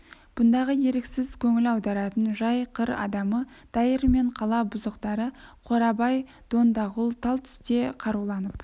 бұндағы еріксіз көңіл аударатын жай қыр адамы дайыр мен қала бұзықтары қорабай дондағұл тал түсте қаруланып